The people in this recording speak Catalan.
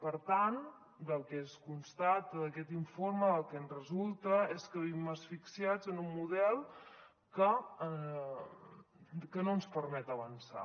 per tant el que es constata d’aquest informe el que en resulta és que vivim asfixiats en un model que no ens permet avançar